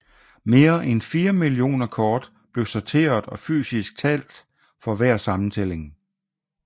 Mere end 4 millioner kort blev sorteret og fysisk talt for hver sammentælling